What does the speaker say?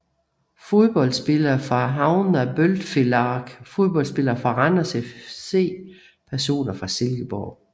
Fodboldspillere fra Havnar Bóltfelag Fodboldspillere fra Randers FC Personer fra Silkeborg